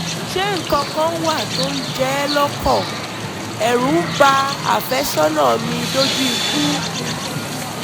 ṣé nǹkan kan wà tó ń jẹ ẹ́ lọ́kàn? ẹ̀rù ń ba àfẹ́sọ́nà mi dójú ikú